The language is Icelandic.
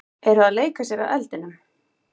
Eru að leika sér að eldinum